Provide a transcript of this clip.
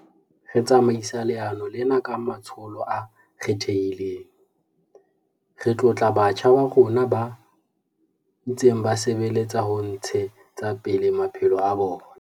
Re tsamaisa leano lena ka matsholo a kgethehileng. Re tlotla batjha ba rona ba ntseng ba sebeletsa ho ntshe tsa pele maphelo a bona.